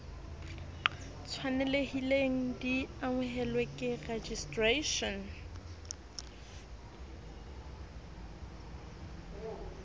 tshwanelehileng di amohelwe ke registration